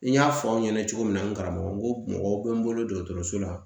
N y'a fɔ aw ɲɛna cogo min na n karamɔgɔ n ko mɔgɔw bɛ n bolo dɔgɔtɔrɔso la